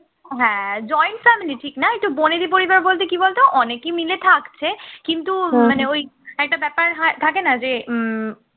হ্যাঁ joint family ঠিক না একটু বনেদি পরিবার বলতে কি বলতো অনেকে মিলে থাকছে কিন্তু মানে ওই একটা ব্যাপার হয় থাকে না যে উম